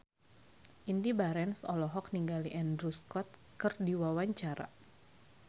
Indy Barens olohok ningali Andrew Scott keur diwawancara